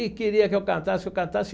E queria que eu cantasse, que eu cantasse.